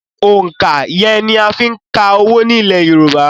Òǹkà iye ni a ń fí ka owó ní ilẹ̀ yorùbá